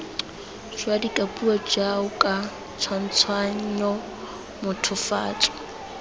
jwa dikapuo jaoka tshwantshanyo mothofatso